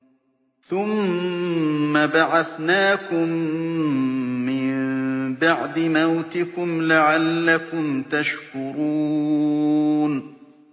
ثُمَّ بَعَثْنَاكُم مِّن بَعْدِ مَوْتِكُمْ لَعَلَّكُمْ تَشْكُرُونَ